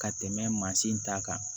Ka tɛmɛ mansin ta kan